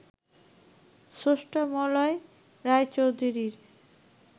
স্রষ্টা মলয় রায়চৌধুরীর